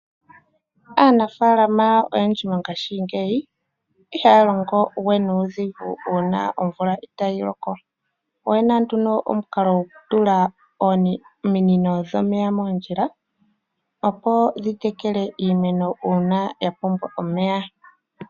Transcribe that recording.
Aanafalama oyendji mongaashingeyi iha longo we nuudhigu una omvula itayi loko oyena nduno omukalo gokutula ominino dhomeya moondjila opo dhi tekele iimeno uuna yapumbwa omeya.